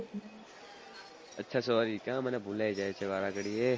અચ્છા sorry ત્યાં મને ભુલાઈ જાય છે મને વારે ઘડીએ